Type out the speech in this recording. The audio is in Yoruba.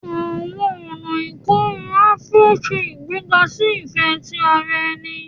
Àwọn ọna ikorun Afuro se igbega si ifẹ ti ara ẹni